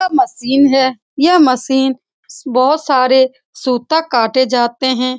यह मशीन है यह मशीन बहुत सारे सूता काटे जाते हैं ।